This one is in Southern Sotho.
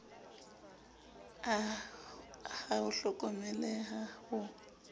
a ha ho hlokomeleha ho